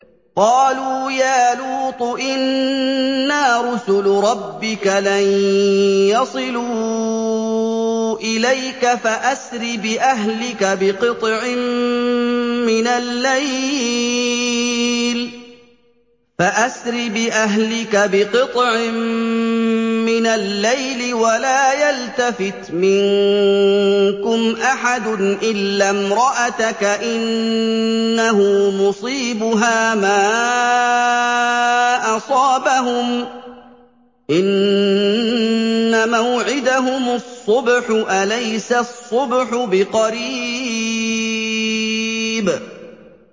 قَالُوا يَا لُوطُ إِنَّا رُسُلُ رَبِّكَ لَن يَصِلُوا إِلَيْكَ ۖ فَأَسْرِ بِأَهْلِكَ بِقِطْعٍ مِّنَ اللَّيْلِ وَلَا يَلْتَفِتْ مِنكُمْ أَحَدٌ إِلَّا امْرَأَتَكَ ۖ إِنَّهُ مُصِيبُهَا مَا أَصَابَهُمْ ۚ إِنَّ مَوْعِدَهُمُ الصُّبْحُ ۚ أَلَيْسَ الصُّبْحُ بِقَرِيبٍ